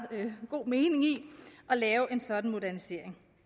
god mening i at lave en sådan modernisering